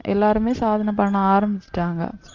எல்லாருமே சாதனை பண்ண ஆரம்பிச்சுட்டாங்க